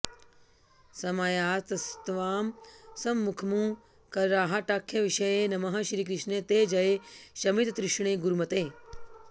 समायातस्त्वां सम्मुखमु करहाटाख्यविषये नमः श्रीकृष्णे ते जय शमिततृष्णे गुरुमते